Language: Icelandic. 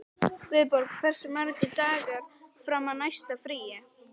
Guðborg, hversu margir dagar fram að næsta fríi?